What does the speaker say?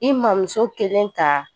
I mamuso kelen ta